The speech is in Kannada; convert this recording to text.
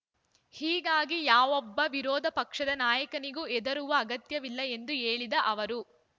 ಹೀಗಾಗಿ ಯಾವೊಬ್ಬ ವಿರೋಧ ಪಕ್ಷದ ನಾಯಕನಿಗೂ ಹೆದರುವ ಅಗತ್ಯವಿಲ್ಲ ಎಂದು ಹೇಳಿದ ಅವರು